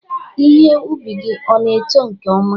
Ihe ubi gị ọ na-eto nke ọma?